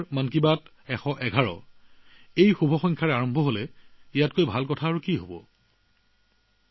পৰৱৰ্তী খণ্ডটো আৰম্ভ হব ১১১নং শুভ নম্বৰৰ পৰা ইয়াতকৈ ভাল কি হব পাৰে